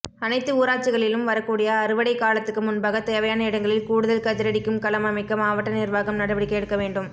அனைத்து ஊராட்சிகளிலும் வரக்கூடிய அறுவடைகாலத்துக்கு முன்பாக தேவையான இடங்களில் கூடுதல் கதிரடிக்கும் களம் அமைக்க மாவட்ட நிர்வாகம் நடவடிக்கை எடுக்கவேண்டும்